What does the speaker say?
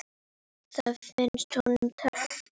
Það fannst honum töff.